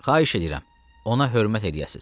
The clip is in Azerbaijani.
Xahiş edirəm, ona hörmət eləyəsiz.